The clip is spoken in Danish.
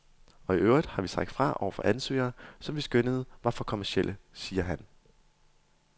Og i øvrigt har vi sagt fra over for ansøgere, som vi skønnede var for kommercielle, siger han.